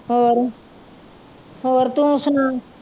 ਹੋਰ ਹੋਰ ਤੂੰ ਸੁਣਾ